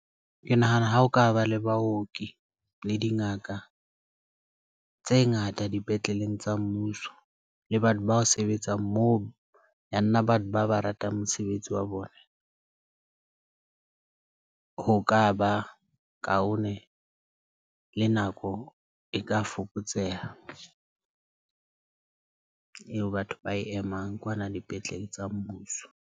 Ke nahana ha o ka ba le baoki le dingaka tse ngata dipetleleng tsa mmuso le batho ba sebetsang. Moo ya nna ba ba ba ratang mosebetsi wa bona, ho ka ba kaone le nako e ka fokotseha eo batho ba emang kwana dipetlele tsa mmuso.